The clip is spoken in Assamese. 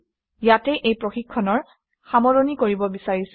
ইয়াতে এই প্ৰশিক্ষণৰ সামৰণি মাৰিব বিচাৰিছোঁ